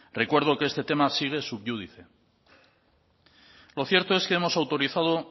recuerdo que este tema sigue sub júdice lo cierto es que hemos autorizado